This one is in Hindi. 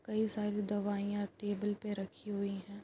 कई सारी दवाइयां टेबल पे रखी हुई हैं।